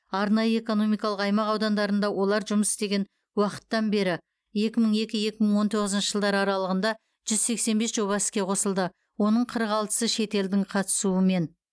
арнайы экономикалық аймақ аудандарында олар жұмыс істеген уақыттан бері екі мың екі екі мың он тоғызыншы жылдар аралығында жүз сексен бес жоба іске қосылды оның қырық алтысы шетелдік қатысумен